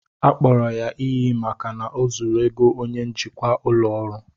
Akpọrọ ya iyi maka na o zuru ego onye njikwa ụlọ ọrụ